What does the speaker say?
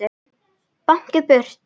Báknið burt?